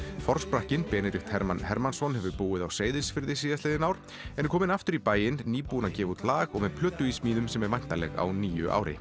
forsprakkinn Benedikt Hermann Hermannsson hefur búið á Seyðisfirði síðastliðin ár en er kominn aftur í bæinn nýbúinn að gefa út lag og með plötu í smíðum sem er væntanleg á nýju ári